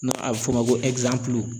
N'a bɛ f'o ma ko